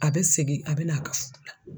A be segin a be na a ka furu la.